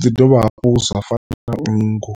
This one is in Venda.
zwi ḓi dovha hafhu zwa fana na nngu.